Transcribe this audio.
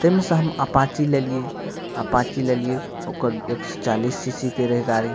ते में से हम अपाची ले लिये अपाची लेलिये ओकर एक सौ चालीस सी.सी. के रहे गाड़ी।